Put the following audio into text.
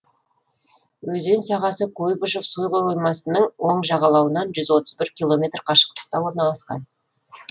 өзен сағасы куйбышев суқоймасының оң жағалауынан жүз отыз бір километр қашықтықта орналасқан